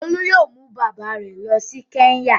Olú yóò mú bàbá rẹ̀ lọ sí Kẹ́ńyà.